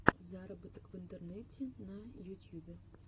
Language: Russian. заработок в интернете на ютьюбе